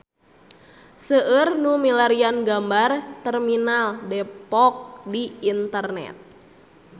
Seueur nu milarian gambar Terminal Depok di internet